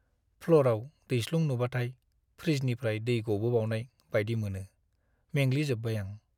प्ल'रआव दैस्लुं नुबाथाय फ्रिजनिफ्राय दै गबोबावनाय बायदि मोनो। मेंग्लि जोब्बाय आं।